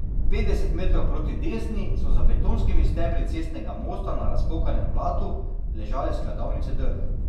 Petdeset metrov proti desni so za betonskimi stebri cestnega mosta na razpokanem blatu ležale skladovnice drv.